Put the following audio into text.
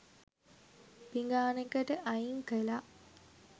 පිඟානකට අයින් කළා